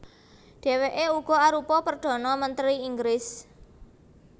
Dhèwèké uga arupa perdhana mentri Inggris